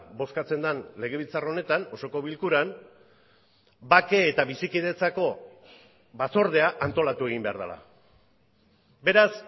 bozkatzen den legebiltzar honetan osoko bilkuran bake eta bizikidetzako batzordea antolatu egin behar dela beraz